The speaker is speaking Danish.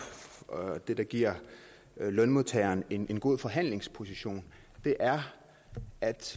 det der giver lønmodtagerne en god forhandlingsposition er at